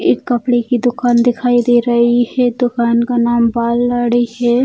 ये एक कपड़े की दुकान दिखाई दे रही है दुकान का नाम बाल दाढ़ी है।